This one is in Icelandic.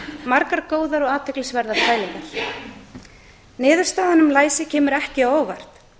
margar góðar og athyglisverða pælingar niðurstaðan um læsi kemur ekki á óvart